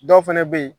Dɔw fɛnɛ be yen